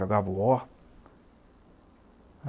Jogava o War.